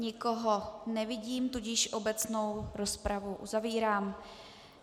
Nikoho nevidím, tudíž obecnou rozpravu uzavírám.